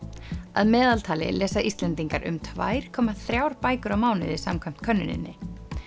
að meðaltali lesa Íslendingar um tvær komma þrjár bækur á mánuði samkvæmt könnuninni